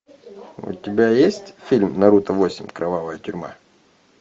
у тебя есть фильм наруто восемь кровавая тюрьма